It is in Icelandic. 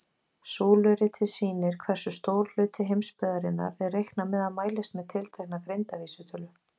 Súluritið sýnir hversu stór hluti heimsbyggðarinnar er reiknað með að mælist með tiltekna greindarvísitölu.